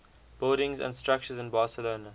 buildings and structures in barcelona